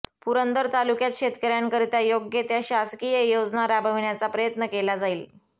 पुरंदर तालुक्यात शेतकऱ्यांकरिता योग्य त्या शासकीय योजना राबविण्याचा प्रयत्न केला जाईल